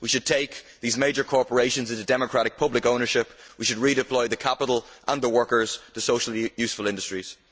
We should take these major corporations into democratic public ownership and we should redeploy the capital and the workers to socially useful industries.